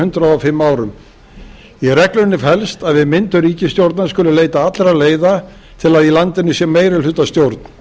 hundrað og fimm árum í reglunni felst að við myndun ríkisstjórnar skuli leita allra leiða til að í landinu sé meirihlutastjórn